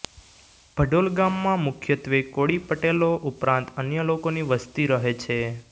ભડોલ ગામમાં મુખ્યત્વે કોળી પટેલો ઉપરાંત અન્ય લોકોની વસ્તી રહે છે